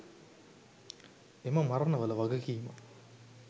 එම මරණවල වගකීම